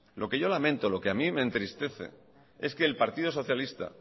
lo que yo lamento lo que a mí me entristece es que el partido socialista